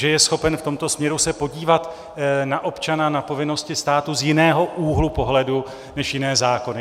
Že je schopen v tomto směru se podívat na občana, na povinnosti státu z jiného úhlu pohledu než jiné zákony.